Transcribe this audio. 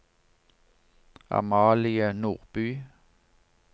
Amalie Nordby